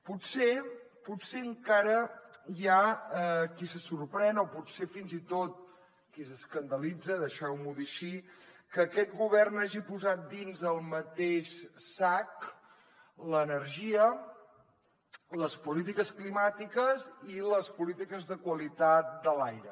potser encara hi ha qui se sorprèn o potser fins i tot qui s’escandalitza deixeu m’ho dir així que aquest govern hagi posat dins el mateix sac l’energia les polítiques climàtiques i les polítiques de qualitat de l’aire